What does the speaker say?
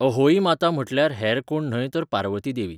अहोई माता म्हटल्यार हेर कोण न्हय तर पार्वती देवी.